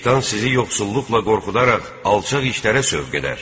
Şeytan sizi yoxsulluqla qorxudaraq alçaq işlərə sövq edər.